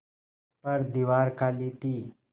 पर दीवार खाली थी